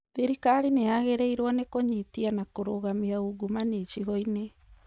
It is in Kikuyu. Thirikari nĩ yagĩrĩirwo nĩ kũnyitia na kũrũgamia ungumania icigo-inĩ